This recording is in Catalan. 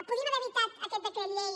podíem haver evitat aquest decret llei